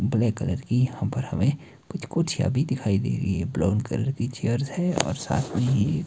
Black colour की यहां पर हमें कुछ-कुछ कुर्सिया भी दिखाई दे रही है। ब्राउन कलर की चेयर्स हैं और साथ में--